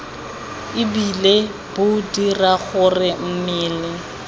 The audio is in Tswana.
ebile bo dira gore mmele